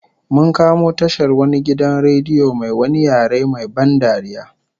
Mun kamo tashar wani gidan radio mai wani yare main ban dariya